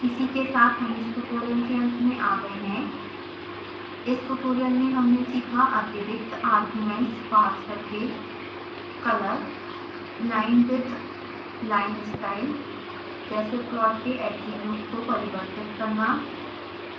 इसी के साथ हम इस ट्यूटोरियल के अंत में आ गए हैं इस ट्यूटोरियल में हमने सीखा अतिरिक्त arguments पास करके color line width line style जैसे प्लॉट के attributes को परिवर्तित करना